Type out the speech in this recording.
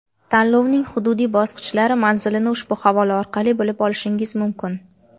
Tanlovning hududiy bosqichlari manzilini ushbu havola orqali bilib olishingiz mumkin.